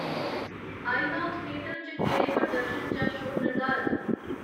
INOX theatre च केह्ड़े प्रदर्शन जां शोऽ निर्धारत न